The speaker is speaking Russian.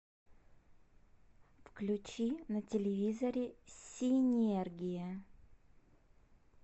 включи на телевизоре синергия